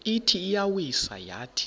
ithi iyawisa yathi